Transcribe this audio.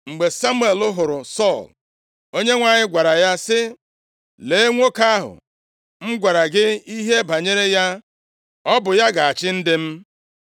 Mgbe Samuel hụrụ Sọl, Onyenwe anyị gwara ya sị, “Lee nwoke ahụ m gwara gị ihe banyere ya! Ọ bụ ya ga-achị ndị m.”